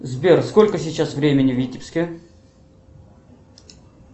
сбер сколько сейчас времени в витебске